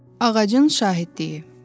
Ağacın şahidliyi.